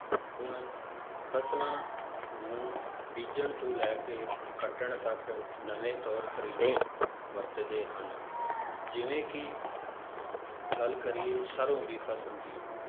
ਹੁਣ ਫਸਲਾਂ ਨੂੰ ਬੀਜ਼ਣ ਤੋਂ ਲੈ ਕੇ ਕੱਟਣ ਤੱਕ ਨਵੇਂ ਤੌਰ ਤਰੀਕੇ ਵਰਤਦੇ ਹਨ, ਜਿਵੇਂ ਕਿ ਗੱਲ ਕਰੀਏ ਸਰੋਂ ਦੀ ਫਸਲ ਦੀ